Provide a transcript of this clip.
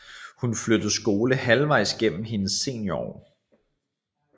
Hun flyttede skole halvvejs gennem hendes seniorår